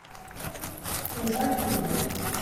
чем дальше в лес